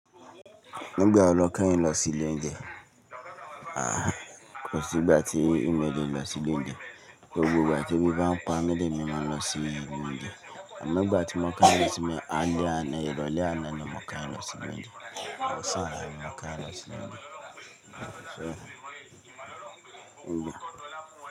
Nígbà ó lọ kẹ́yìn lọ sí London, à kò sí ìgbà tí emí ò lẹ lọ sí London, gbogbo ìgbà tí ebi bá ń pa mi èmi má lọ sí London, àmọ́ nígbà tí mó kán lé tí mí á lé àná, ìrọ̀lẹ́ àná ni mó kán lọ sí London, ọ̀sán là mí kán lọ sí London.